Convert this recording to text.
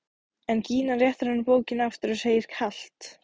En Gína réttir honum bókina aftur og segir kalt: